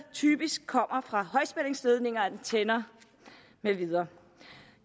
typisk kommer fra højspændingsledninger antenner med videre